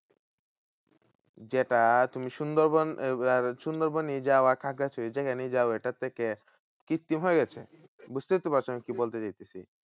যেটা তুমি সুন্দরবন সুন্দরবনই যাওয়া থাকা যেখানেই যাও এটার থেকে কৃত্তিম হয়ে গেছে। বুঝতেই তো পারছো আমি কি বলতে চড়াইতেছি?